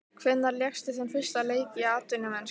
Hvenær lékstu þinn fyrsta leik í atvinnumennsku?